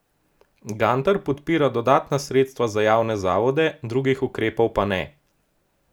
Gantar podpira dodatna sredstva za javne zavode, drugih ukrepov pa ne.